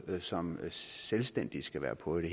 som selvstændige skal være på det